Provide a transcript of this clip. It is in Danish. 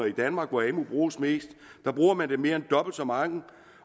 i danmark hvor amu bruges mest bruger man det mere end dobbelt så meget